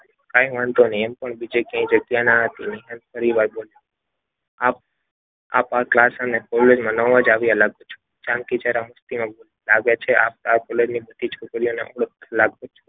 કાંઈ વાંધો નહીં એમ પણ બીજે ક્યાંય જગ્યા ન હતી ફરીવાર બોલ્યો. આ ક્લાસ અને કોલેજમાં નવા જ આવ્યા લાગો છો. જાનકી જરા મસ્તીમાં બોલી લાગે જ આપ આ કોલેજની બધી છોકરીઓને જાણતા લાગો છો.